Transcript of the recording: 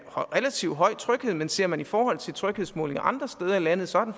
relativt høj tryghed men ser man det i forhold til tryghedsmålinger andre steder i landet så er